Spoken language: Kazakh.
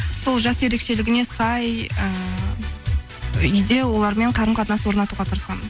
сол жас ерекшелігіне сай ііі үйде олармен қарым қатынас орнатуға тырысамын